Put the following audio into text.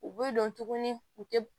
U b'o dɔn tuguni u tɛ